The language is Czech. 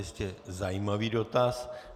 Jistě zajímavý dotaz.